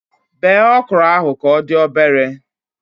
Bee okro ahụ ka odị obere